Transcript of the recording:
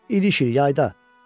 "İniş il, yayda."